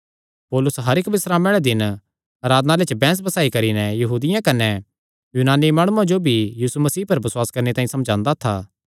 पौलुस हर इक्क बिस्रामे आल़े दिन आराधनालय च बैंह्स बसाई करी नैं यहूदियां कने यूनानी माणुआं जो भी यीशु मसीह पर बसुआस करणे तांई समझांदा था